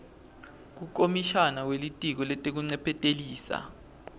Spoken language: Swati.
kukomishana welitiko letekuncephetelisa